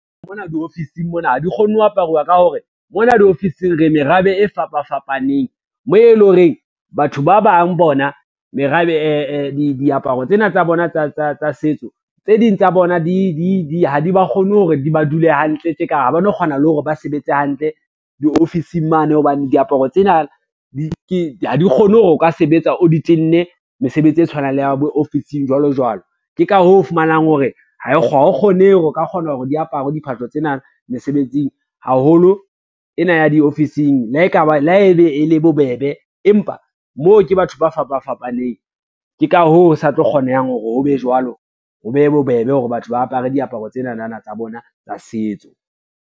Mona diofising mona ha di kgone ho aparuwa ka hore, mona diofising re merabe e fapa fapaneng moo e le horeng batho ba bang bona diaparo tsena tsa bona tsa setso, tse ding tsa bona ha di ba kgone hore di ba dule hantle tje ka ha ba no kgona le hore ba sebetse hantle diofising mane hobane diaparo tsena ha di kgone hore o ka sebetsa o di tenne mesebetsi e tshwanang le ya bo ofising jwalo jwalo. Ke ka hoo o fumanang hore hao kgonehe hore o ka kgona hore di apare diphahlo tsena mesebetsing haholo ena ya diofising, le haebe e le bobebe, empa moo ke batho ba fapa fapaneng, ke ka hoo ho sa tlo kgonehang hore ho be jwalo, ho be bobebe hore batho ba apare diaparo tsenana tsa bona tsa setso.